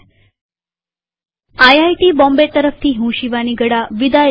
IIT Bombay તરફથી હું શિવાની ગડા વિદાય લઉં છુંટ્યુ્ટોરીઅલમાં ભાગ લેવા આભાર